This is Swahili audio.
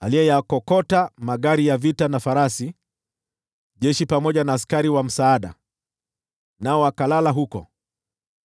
aliyeyakokota magari ya vita na farasi, jeshi pamoja na askari wa msaada, nao wakalala huko,